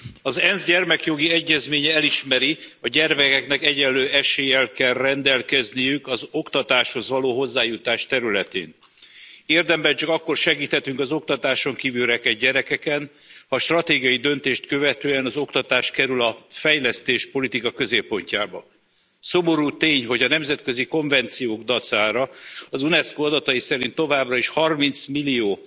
Az ENSZ Gyermekjogi Egyezménye elismeri, a gyermekeknek egyenlő eséllyel kell rendelkezniük az oktatáshoz való hozzájutás területén. Érdemben csak akkor segíthetünk az oktatáson kívül rekedt gyerekeken, ha stratégiai döntést követően az oktatás kerül a fejlesztéspolitika középpontjába. Szomorú tény, hogy a nemzetközi konvenciók dacára az Unesco adatai szerint továbbra is 30 millió